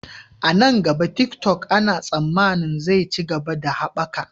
A nan gaba, TikTok ana tsammanin zai ci gaba da haɓaka.